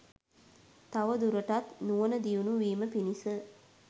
තවදුරටත් නුවණ දියුණු වීම පිණිස